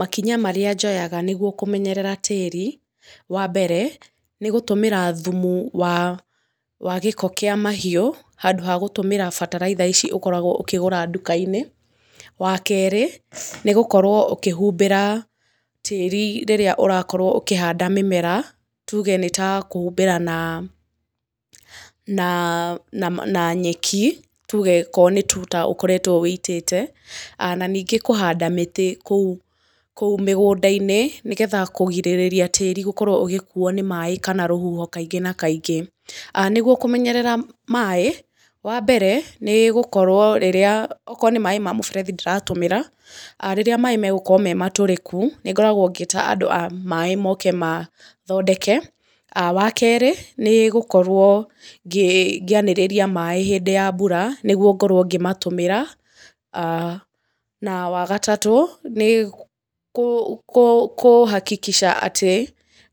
Makinya marĩa njoyaga nĩ guo kũmenyerera tĩĩri, wa mbere, nĩ gũtũmĩra thumu wa gĩko kĩa mahiũ handũ ha gũtũmĩra bataraitha ici ũkoragwo ũkĩgũra nduka-inĩ, wa kerĩ, nĩ gũkorwo ũkĩhumbĩra tĩĩri rĩrĩa ũrakorwo ũkĩhanda mĩmera, tuge nĩ ta kũhumbĩra na na nyeki, tuge korwo nĩ tuta ũkoretwo wĩitĩte, na ningĩ kũhanda mĩtĩ kũu mĩgũnda-inĩ, nĩ getha kugirĩrĩria tĩĩri gũkorwo ũgĩkuo nĩ maaĩ kana rũhuho kaingĩ na kaingĩ. Nĩ guo kũmenyerera maaĩ, wa mbere, nĩ gũkorwo rĩrĩa okorwo nĩ maaĩ ma mũberethi ndĩratũmĩra, rĩrĩa maaĩ megũkorwo me matũrĩku, nĩ ngoragwo ngĩĩta andũ a maaĩ moke mathodeke, wa kerĩ nĩ gũkorwo ngĩanĩrĩria maaĩ hĩndĩ ya mbura nĩ guo ngorwo ngĩmatũmĩra, na wagatatũ nĩ kũ hakikisha atĩ,